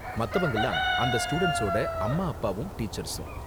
மத்தவங்கலாம் அந்த ஸ்டூடண்ட்ஸோட அம்மா அப்பாவும் டீச்சர்ஸும்.